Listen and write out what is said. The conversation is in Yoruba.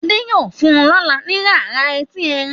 Ade yíò fún lọla ni irara Ẹti Ẹrin.